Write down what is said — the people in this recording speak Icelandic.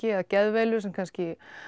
geðveilu kannski